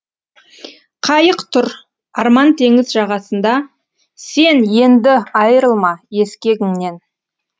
қайық тұр арман теңіз жағасында сен енді айырылма ескегіңнен